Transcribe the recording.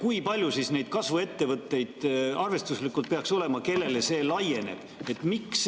Kui palju siis neid kasvuettevõtteid arvestuslikult peaks olema, kellele see laieneb?